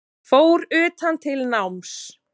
Fór utan til náms